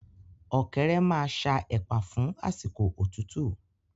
Ọ̀kẹ́rẹ́ maa ṣa ẹ̀pà fún àsìkò òtútú